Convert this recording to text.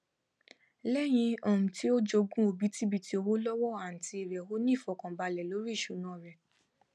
lẹyìn um tí ó jogún òbítibitì owó lọwọ àǹtí rẹ ó ní ifọkanbalẹ lórí ìṣúná rẹ